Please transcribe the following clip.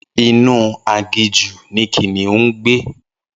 Inú aginjù ni kìnìún ngbé